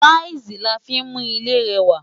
Táìsì la fí ń mú ilé rẹwà.